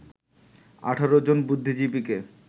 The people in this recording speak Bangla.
১৮জন বুদ্ধিজীবীকে